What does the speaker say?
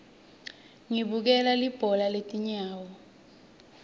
ngibukela libhola letinyawo